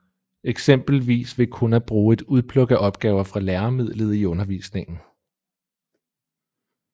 Eksempelvis ved kun at bruge et udpluk af opgaver fra læremidlet i undervisningen